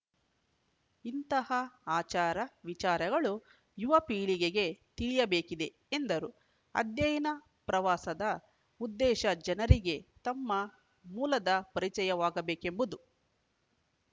ಇಂತಹ ಆಚಾರ ವಿಚಾರಗಳು ಯುವ ಪೀಳಿಗೆಗೆ ತಿಳಿಯಬೇಕಿದೆ ಎಂದರು ಅಧ್ಯಯನ ಪ್ರವಾಸದ ಉದ್ದೇಶ ಜನರಿಗೆ ತಮ್ಮ ಮೂಲದ ಪರಿಚಯವಾಗಬೇಕೆಂಬದು